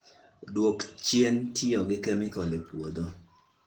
Dwok chien tiyo gi kemikal e puothi